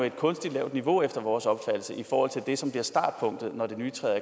et kunstigt lavt niveau efter vores opfattelse i forhold til det som bliver startpunktet når det nye træder